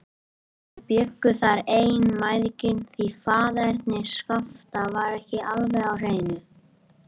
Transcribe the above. Þau bjuggu þar ein, mæðginin, því faðerni Skapta var ekki alveg á hreinu.